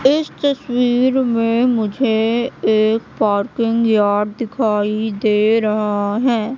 इस तस्वीर में मुझे एक पार्किंग यार्ड दिखाई दे रहा है।